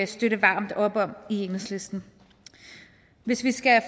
støtte varmt i enhedslisten hvis vi skal